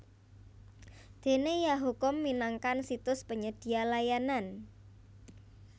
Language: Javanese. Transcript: Dene yahoo com minangkan situs penyedia layanan